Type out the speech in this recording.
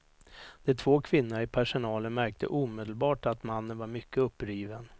De två kvinnorna i personalen märkte omedelbart att mannen var mycket uppriven.